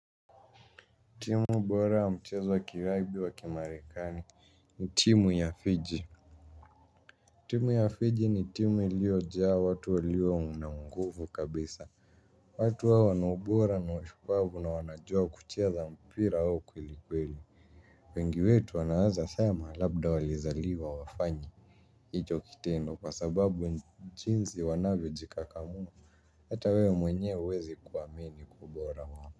Timu ubora wa mchezo wa kiraibi wa kimarekani ni timu ya Fiji. Timu ya Fiji ni timu iliojaa watu walio unanguvu kabisa. Watu hawa wana ubora na ushupavu na wanajua kucheza mpira huu kwelikweli wengi wetu wanaeza sema labda walizaliwa wafanye. Hicho kitendo kwa sababu nchinzi wanavyojikakamua hata wewe mwenyewe huwezi kuamini kwa ubora wa.